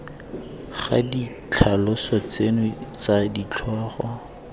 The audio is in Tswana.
ga ditlhaloso tseno tsa ditlhogo